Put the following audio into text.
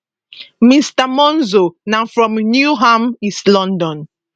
mr monzo na from newham east london